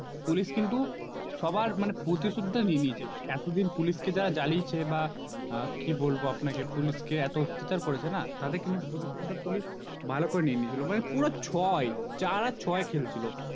Police কিন্তু সবার মানে প্রতিশোধটা নিয়ে নিয়েছে এতো দিন যারা Police কে যারা জ্বালিয়েছে বা কি বলবো আপনাকে Police কে এত অত্যাচার করেছে না তাদের কিন্তু প্রতিশোধটা Police ভালো করে নিয়ে নিয়েছিল মানে পুরো ছয় চার আর ছয় খেলছিল